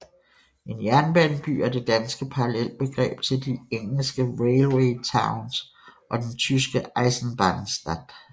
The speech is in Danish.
En jernbaneby er det danske parallelbegreb til de engelske railway towns og den tyske Eisenbahnstadt